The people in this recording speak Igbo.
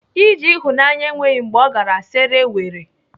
Ije ịhụnanya enweghị mgbe ọ gara sere were.